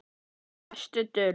Besta dul